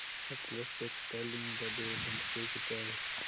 Sutlej Textiles Limited dividend pay किती आहे